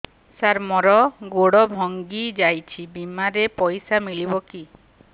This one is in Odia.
ସାର ମର ଗୋଡ ଭଙ୍ଗି ଯାଇ ଛି ବିମାରେ ପଇସା ମିଳିବ କି